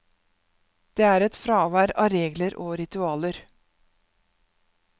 Det er et fravær av regler og ritualer.